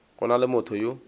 go na le motho yo